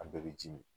An bɛɛ bɛ ji min